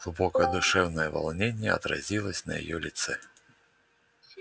глубокое душевное волнение отразилось на её лице